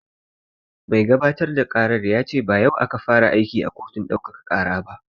Mai gabatar da ƙaran ya ce ba yau ya fara aiki a kotun ɗaukaka ƙara ba